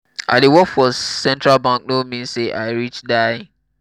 i dey work for central bank no mean say i rich die.